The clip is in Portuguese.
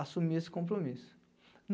assumir esse compromisso.